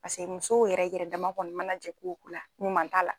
Paseke musow yɛrɛ yɛrɛ dama kɔni mana jɛ ko o ko la ɲuman t'a la.